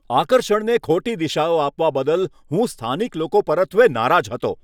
આકર્ષણને ખોટી દિશાઓ આપવા બદલ હું સ્થાનિક લોકો પરત્વે નારાજ હતો.